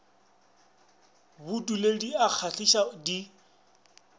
bodule di a kgahliša di